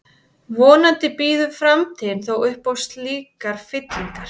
Vonandi býður framtíðin þó upp á slíkar fyllingar.